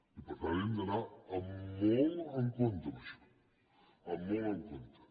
i per tant hem d’anar molt en compte amb això molt en compte